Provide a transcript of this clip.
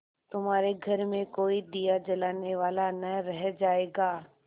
तुम्हारे घर में कोई दिया जलाने वाला न रह जायगा